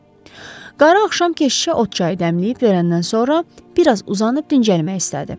Qarı axşam keşişə ot çayı dəmləyib verəndən sonra, biraz uzanıb dincəlmək istədi.